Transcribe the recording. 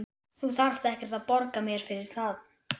Þú þarft ekkert að borga mér fyrir það.